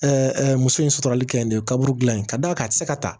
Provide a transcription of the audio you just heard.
muso in suturali kɛ nin kaburu dilan in ka d'a kan a tɛ se ka ta